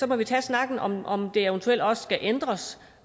må vi tage snakken om om det eventuelt også skal ændres